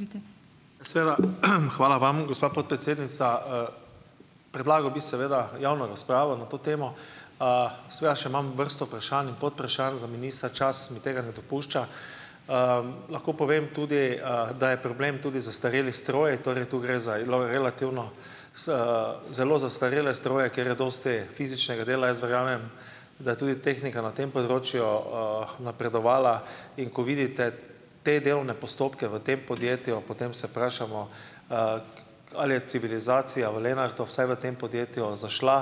Izvolite. Seveda, hvala vam, gospa podpredsednica, Predlagal bi seveda javno razpravo na to temo. seveda še imam vrsto vprašanj in podvprašanj za ministra, čas tega ne dopušča. lahko povem tudi, da je problem tudi zastarelih strojev. Torej, tu gre za relativno zelo zastarele stroje, ker je dosti fizičnega dela. Jaz verjamem, da tudi tehnika na tem področju, napredovala, in kot vidite, te delovne postopke v tem podjetju, potem se vprašamo, ali je civilizacija v Lenartu, vsaj v tem podjetju, zašla,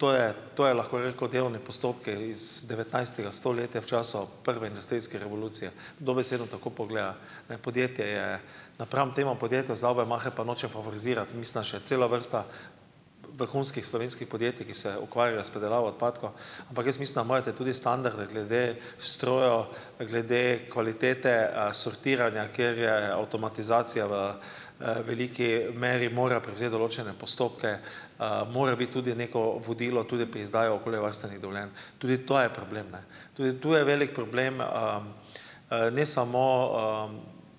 to je, to je lahko že kot delovni postopki iz devetnajstega stoletja v času prve industrijske revolucije. Dobesedno tako pogleda. Ne. Podjetje je napram temu podjetju Saubermacher, pa nočem favorizirati, mislim, da še cela vrsta vrhunskih slovenskih podjetij, ki se ukvarjajo s predelavo odpadkov. Ampak jaz mislim, da imajo te tudi standarde glede strojev, glede kvalitete sortiranja, kjer je avtomatizacija v, veliki meri mora prevzeti določene postopke, mora biti tudi neko vodilo tule pri izdaji okoljevarstvenih dovoljenj. Tudi to je problem, ne. Tudi to je velik problem, ne samo,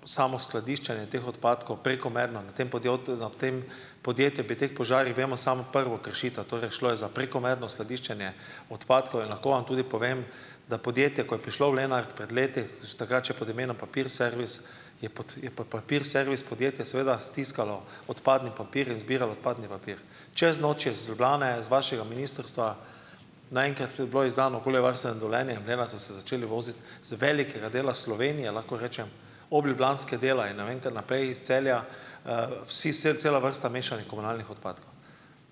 samo skladiščenje teh odpadkov prekomerno na tem podjetju, ob tem podjetju, bi teh požarih, vemo samo prvo kršitev, torej šlo je za prekomerno skladiščenje odpadkov, in lahko vam tudi povem, da podjetja, ko je prišlo v Lenart pred leti, še takrat še pod imenom Papir servis, je pot, je pa Papir servis podjetje seveda stiskalo odpadni papir in zbiralo odpadni papir. Čez noč je iz Ljubljane z vašega ministrstva naenkrat bilo izdano okoljevarstveno dovoljenje in v Lenart so se začeli voziti z velikega dela Slovenije, lahko rečem obljubljanskega dela in ne vem, kar naprej, iz Celja, vsi, cela vrsta mešanih komunalnih odpadkov.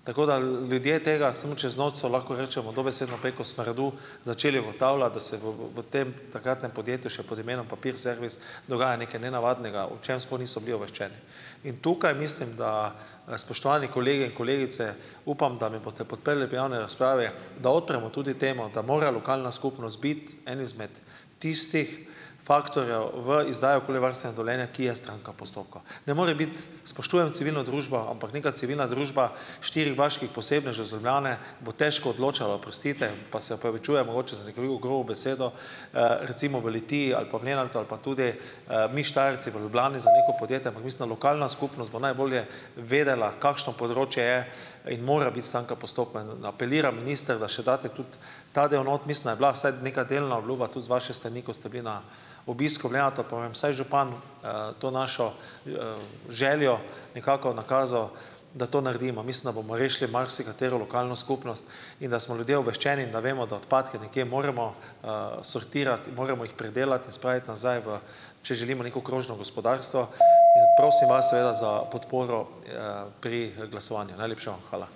Tako da, ljudje tega, samo čez noč so, lahko rečemo, dobesedno preko smradu začeli ugotavljati, da se v, v, v, v tem takratnem podjetju še pod imenom Papir servis dogaja nekaj nenavadnega, o čem sploh niso bili obveščeni. In tukaj, mislim da, spoštovani kolegi in kolegice, upam, da me boste potem podprli v javni razpravi, da odpremo tudi temo, da mora lokalna skupnost biti en izmed tistih faktorjev v izdaji okoljevarstvenega dovoljenja, ki je stranka v postopku. Ne more biti, spoštujem civilno družbo, ampak nekaj civilna družba štirih vaških posebnežev iz Ljubljane bo težko odločala, oprostite, pa se opravičujem mogoče za grobo besedo, recimo v Litiji ali pa v Lenartu ali pa tudi, mi Štajerci v Ljubljani za neko podjetje, ampak mislim lokalna skupnost bo najbolje vedela, kakšno področje je in mora biti stranka postopka. apeliram, minister, da še date tudi ta del not. Mislim, da je bila vsaj nekaj delna obljuba tudi z vaše strani, ko ste bili na obisku v Lenartu, pa vam vsaj župan, to našo, željo nekako nakazal, da to naredimo. Mislim, da bomo rešili marsikatero lokalno skupnost in da smo ljudje obveščeni in da vemo, da odpadke nekje moramo, sortirati, moramo jih predelati in spraviti nazaj v, če želimo neko krožno gospodarstvo. In prosim vas seveda za podporo, pri glasovanju. Najlepša vam hvala.